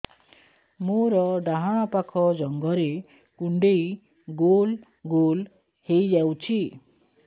ମୋର ଡାହାଣ ପାଖ ଜଙ୍ଘରେ କୁଣ୍ଡେଇ ଗୋଲ ଗୋଲ ହେଇଯାଉଛି